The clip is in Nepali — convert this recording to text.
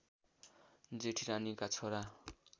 जेठी रानीका छोरा